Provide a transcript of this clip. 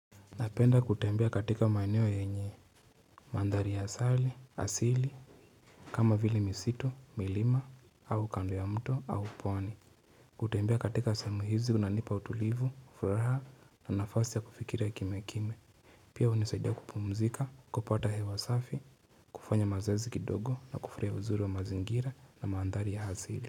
Napenda kutembea katika maeneo yenye Mandhari ya asali, asili, kama vile misitu, milima, au kando ya mto, au pwani kutembea katika sehemu hizi kunanipa utulivu, furaha na nafasi ya kufikira kimya kimya Pia hunisaidia kupumzika, kupata hewa safi, kufanya mazoezi kidogo na kufurahia uzuri wa mazingira na mandhari ya asili.